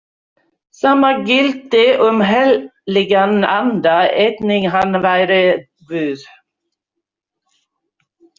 Sama gilti um heilagan anda, einnig hann væri Guð.